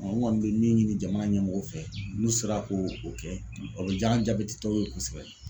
n kɔni bɛ min ɲini jamana ɲɛmɔgɔw fɛ n'u sera ko o kɛ o bɛ jaa an jabɛtitɔw ye kosɛbɛ.